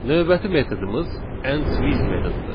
Növbəti metodumuz ends with metodudur.